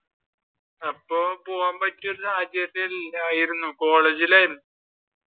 അപ്പൊ പോകാൻ പറ്റിയ ഒരു സാഹചര്യത്തിൽ അല്ലായിരുന്നു കോളേജിൽ ആയിരുന്നു.